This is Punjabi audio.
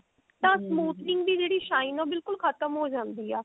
ਤਾਂ smoothening ਦੀ ਜਿਹੜੀ shine ਹੈ ਬਿਲਕੁੱਲ ਖਤਮ ਹੋ ਜਾਂਦੀ ਆ